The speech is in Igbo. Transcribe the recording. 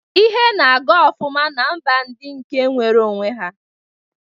Ihe na-aga ofụma na mba ndi nke nwero onwe ha.